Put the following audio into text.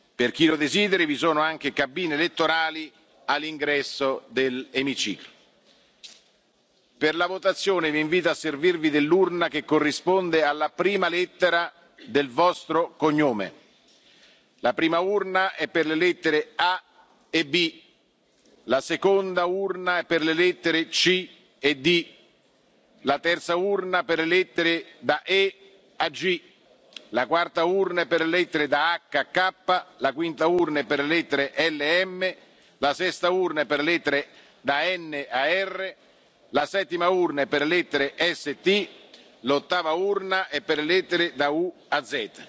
nella busta. Per chi lo desideri, vi sono cabine elettorali all'ingresso dell'emiciclo. Per la votazione, vi invito a servirvi dell'urna che corrisponde alla prima lettera del vostro cognome la prima urna è per le lettere A e B la seconda urna è per le lettere C e D la terza urna è per le lettere da E a G la quarta urna è per le lettere da H a K la quinta urna è per le lettere L e M la sesta urna è per le lettere da N a R la settima urna è per la lettera S e T l'ottava urna è per le lettere